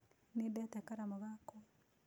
Nĩndate karamũ gakwa.